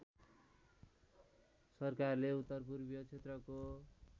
सरकारले उत्तरपूर्वीय क्षेत्रको